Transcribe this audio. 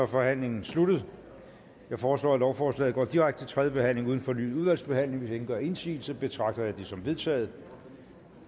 forhandlingen sluttet jeg foreslår at lovforslaget går direkte til tredje behandling uden fornyet udvalgsbehandling hvis ingen gør indsigelse betragter jeg det som vedtaget